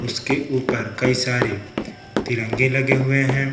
जिसके ऊपर कई सारे तिरंगे लगे हुए हैं।